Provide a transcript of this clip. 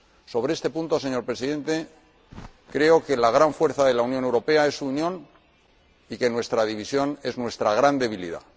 Sobre este punto, señor Presidente, creo que la gran fuerza de la Unión Europea es su unión y que nuestra división es nuestra gran debilidad.